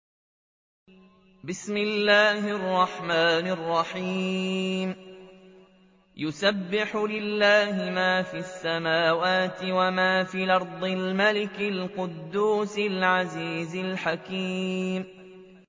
يُسَبِّحُ لِلَّهِ مَا فِي السَّمَاوَاتِ وَمَا فِي الْأَرْضِ الْمَلِكِ الْقُدُّوسِ الْعَزِيزِ الْحَكِيمِ